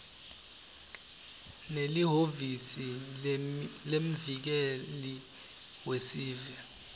nelihhovisi lemvikeli wesive